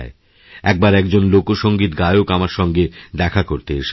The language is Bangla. একবার একজন লোকসংগীত গায়ক আমারসঙ্গে দেখা করতে এসেছিলেন